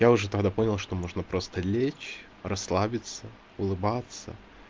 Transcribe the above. я уже тогда понял что можно просто лечь расслабиться улыбаться